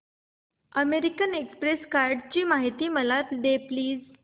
American Express कार्डची माहिती दे प्लीज